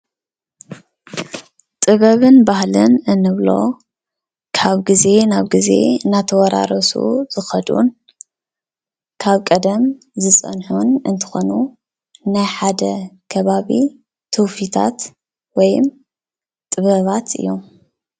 ጥበብን ባህልን እንብሎ ካብ ግዜ ናብ ግዜ እናተወራረሱ ዝኸዱን ካብ ቀደም ዝፀንሑን እንትኾኑ ናይ ሓደ ከባቢ ትውፊታት ወይም ጥበባት እዮም፡፡